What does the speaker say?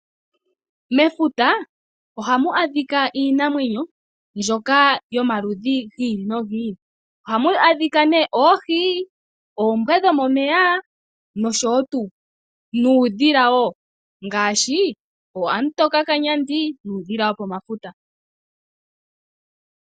Mefuta ohamu adhika iinamwenyo mbyoka yomaludhi giili nogiili . Ohamu adhika oohi, oombwa dhomomeya nuudhila wo ngaashi oohamutokakanyandi nuudhila wopomafuta.